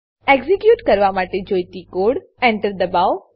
execute કરવા માટે જોઈતો કોડ Enter દબાવો